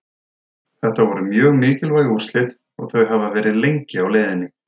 Þetta voru mjög mikilvæg úrslit og þau hafa verið lengi á leiðinni.